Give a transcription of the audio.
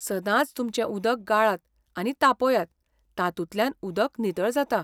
सदांच तुमचें उदक गाळात आनी तापयात, तातूंतल्यान उदक नितळ जाता.